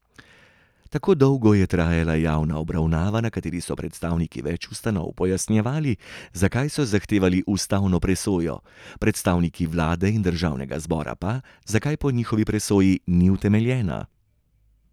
Tako dolgo je trajala javna obravnava, na kateri so predstavniki več ustanov pojasnjevali, zakaj so zahtevali ustavno presojo, predstavniki vlade in državnega zbora pa, zakaj po njihovi presoji ni utemeljena.